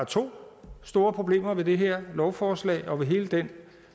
to store problemer ved de her lovforslag og ved hele den